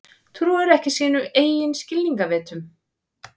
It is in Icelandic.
Trúir ekki sínum eigin skilningarvitum.